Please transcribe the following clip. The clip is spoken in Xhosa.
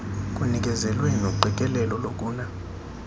kunikezelwe noqikelelo lokuna